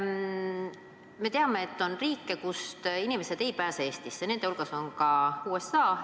Me teame, et on riike, kust inimesed ei pääse Eestisse, nende hulgas ka USA.